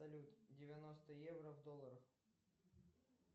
салют девяносто евро в долларах